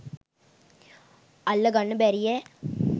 අල්ල ගන්න බැරියැ?